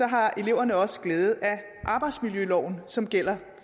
har eleverne også glæde af arbejdsmiljøloven som gælder